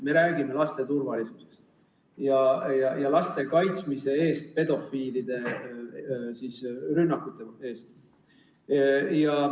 Me räägime laste turvalisusest ja laste kaitsmisest pedofiilide rünnakute eest.